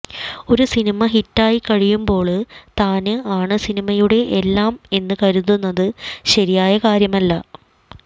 ഒരു സിനിമ ഹിറ്റായിക്കഴിയുമ്ബോള് താന് ആണ് സിനിമയുടെ എല്ലാം എന്ന് കരുതുന്നത് ശരിയായ കാര്യമല്ല